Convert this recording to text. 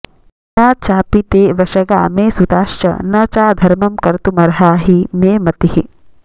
न चापि ते वशगा मे सुताश्च न चाधर्मं कर्तुमर्हा हि मे मतिः